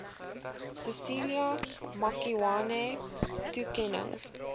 cecilia makiwane toekennings